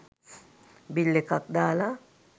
bill එකක් දාලා